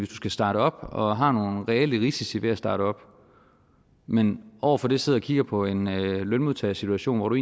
skal starte op og har nogle reelle risici ved at starte op men over for det sidder og kigger på en lønmodtagersituation hvor du